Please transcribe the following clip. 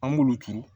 An b'olu turu